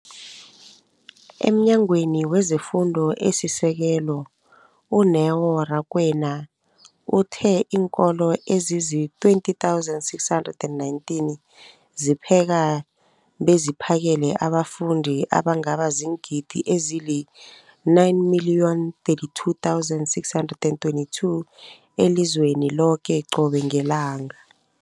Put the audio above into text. EmNyangweni wezeFundo esiSekelo, u-Neo Rakwena, uthe iinkolo ezizi-20 619 zipheka beziphakele abafundi abangaba ziingidi ezili-9 032 622 elizweni loke qobe ngelanga.